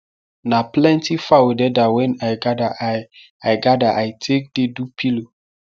na plenty fawo deda wen i gather i i gather i take dey do pillow